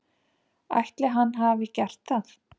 Ætli hann hafi gert það?